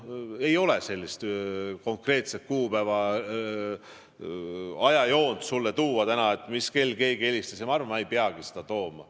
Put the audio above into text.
Ei ole sellist konkreetset kuupäevade ajajoont sulle tuua täna, mis kell keegi helistas, ja ma arvan, et ma ei peagi seda siin tooma.